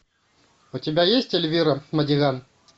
у тебя есть эльвира мадиган